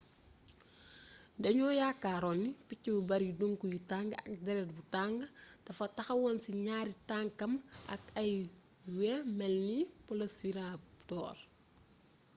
dañoo yaakaaroon ni picc bu bari duŋk yu tàng ak déret bu tàng dafa taxawoon ci ñaari tankam ak ay wey melni velociraptor